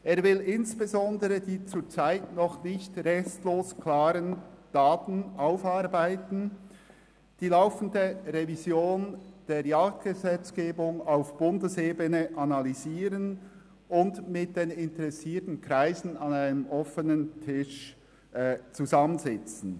Er will insbesondere die zurzeit noch nicht restlos geklärten Daten aufarbeiten, die laufende Revision der Jagdgesetzgebung auf Bundesebene analysieren und mit den interessierten Kreisen an einem offenen Tisch zusammensitzen.